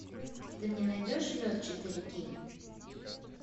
ты мне найдешь лед четыре кей